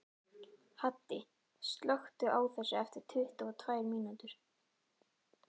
Haddi, slökktu á þessu eftir tuttugu og tvær mínútur.